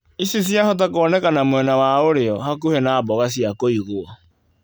Ici ciahota kuonekana mwena wa ũrĩo, hakuhĩ na mboga cia kũigwo.